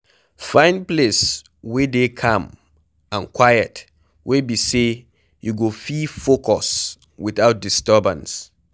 Find place wey dey calm and quiet wey be sey you go fit focus without disturbance